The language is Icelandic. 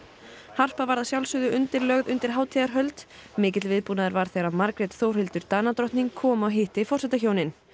harpa var að sjálfsögðu undirlögð undir hátíðarhöld mikil viðbúnaður var þegar Margrét Þórhildur Danadrottning kom og hitti forsetahjónin